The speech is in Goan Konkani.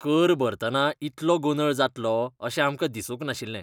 कर भरतना इतलो गोंदळ जातलो अशें आमकां दिसूंक नाशिल्लें.